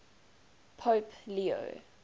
pope leo